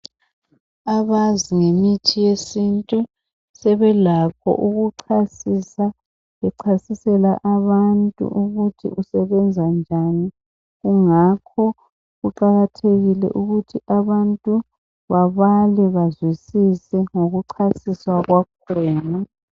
Abazi ngemithi yesintu sebelakho kuchasisa, bechasisela abantu ukuthi usebenzisa njani. Kungakho kuqakathekile ukuthi abantu babale bazwisise ngokuchasiswa kwakhona.